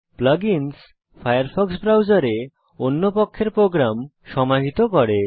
plug ins Firefox ব্রাউজারে অন্য পক্ষের প্রোগ্রাম সমাহিত করে